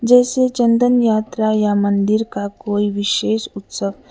जैसे चंदन यात्रा या मंदिर का कोई विशेष उत्सव--